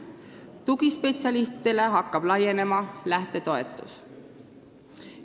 Tugispetsialistid hakkavad saama lähtetoetust.